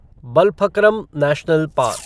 Balphakram national park